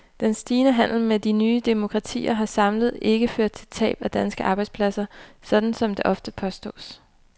Den stigende handel med de nye demokratier har samlet ikke ført til tab af danske arbejdspladser, sådan som det ofte påstås.